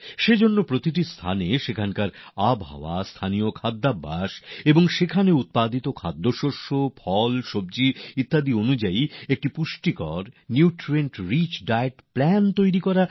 সেই কারণে এটা খুব গুরুত্বপূর্ণ যে সেখানকার জলবায়ু সেখানকার স্থানীয় খাওয়াদাওয়া আর সেখানে উৎপন্ন হওয়া অন্ন ফল সবজির হিসাবে একটি পুষ্টিকর খাদ্যতালিকা পরিকল্পনা তৈরি হবে